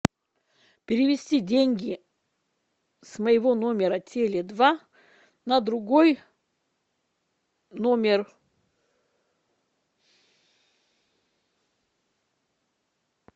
перевести деньги с моего номера теле два на другой номер